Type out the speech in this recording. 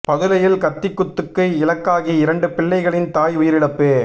பதுளையில் கத்தி குத்துக்கு இலக்காகி இரண்டு பிள்ளைகளின் தாய் உயிரிழப்பு